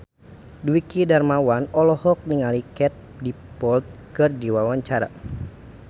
Dwiki Darmawan olohok ningali Katie Dippold keur diwawancara